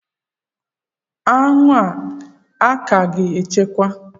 Anwụ a ka ga achakwa?